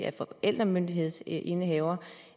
af forældremyndighedsindehaveren